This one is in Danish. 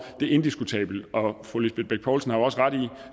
er indiskutabelt og fru lisbeth bech poulsen har jo også ret i